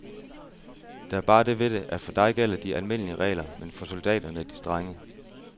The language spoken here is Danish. Der er bare det ved det, at for dig gælder de almindelige regler, men for soldaterne de strenge.